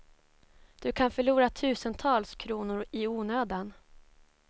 Du kan förlora tusentals kronor i onödan.